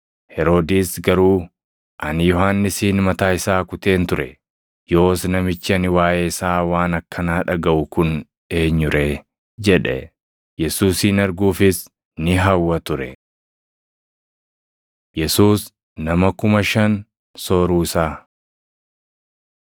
Heroodis garuu, “Ani Yohannisin mataa isaa kuteen ture. Yoos namichi ani waaʼee isaa waan akkanaa dhagaʼu kun eenyu ree?” jedhe. Yesuusin arguufis ni hawwa ture. Yesuus Nama Kuma Shan Sooruu Isaa 9:10‑17 kwf – Mat 14:13‑21; Mar 6:32‑44; Yoh 6:5‑13 9:13‑17 kwi – 2Mt 4:42‑44